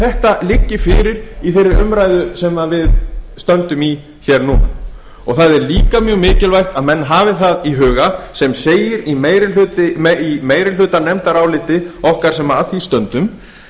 þetta liggi fyrir í þeirri umræðu sem við stöndum í núna og það er líka mjög mikilvægt að menn hafi það í huga sem segir í meirihlutanefndaráliti okkar sem að því stöndum